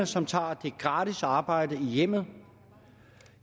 som tager det gratis arbejde i hjemmet